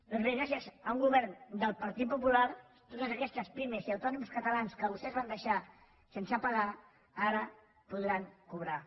doncs bé gràcies a un govern del partit popular totes aquestes pimes i autònoms catalans que vostès van deixar sense pagar ara podran cobrar